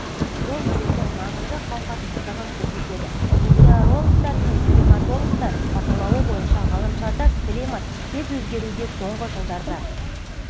бұл елдің маңызды қауқарсыздығын көрсетеді метеорологтар мен климатологтар бақылауы бойынша ғаламшарда климат тез өзгеруде соңғы жылдарда